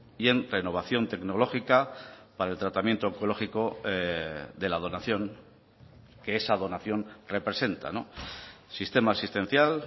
y en renovación tecnológica para el tratamiento oncológico de la donación que esa donación representa sistema asistencial